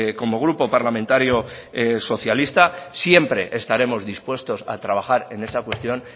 como grupo parlamentario socialista siempre estaremos dispuestos a trabajar en esa cuestión